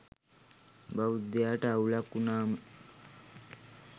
බෞද්ධයාට අවුලක් වුනාම